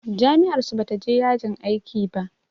Jami'ar su bata je yajin aiki ba.